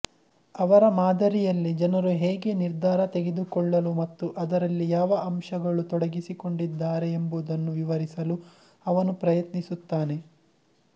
ಅವರ ಮಾದರಿಯಲ್ಲಿ ಜನರು ಹೇಗೆ ನಿರ್ಧಾರ ತೆಗೆದುಕೊಳ್ಳಲು ಮತ್ತು ಅದರಲ್ಲಿ ಯಾವ ಅಂಶಗಳು ತೊಡಗಿಸಿಕೊಂಡಿದ್ದಾರೆ ಎಂಬುದನ್ನು ವಿವರಿಸಲು ಅವನು ಪ್ರಯತ್ನಿಸುತ್ತಾನೆ